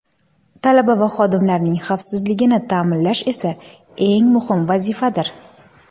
Talaba va xodimlarning xavfsizligini ta’minlash esa eng muhim vazifadir.